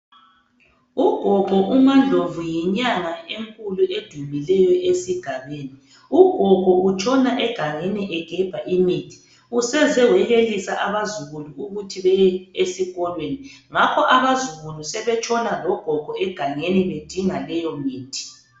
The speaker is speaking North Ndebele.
Ugogo umaNdlovu yinyanya enkulu udumileyo esigabeni. Ugogo utshona egangeni egemba imithi. Usezewayekelisa abazukulu ukuthi baye eskolweni. Ngakho abazukulu sebetshona logogo egangeni bedinga leyo mithi.